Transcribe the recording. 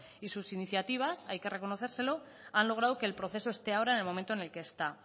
y sus iniciativas hay que reconocérselo han logrado que el proceso esté ahora en el momento en el que está